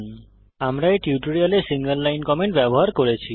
আমরা এই টিউটোরিয়ালে সিঙ্গল লাইন কমেন্ট ব্যবহার করেছি